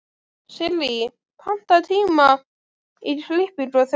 Sirrí, pantaðu tíma í klippingu á þriðjudaginn.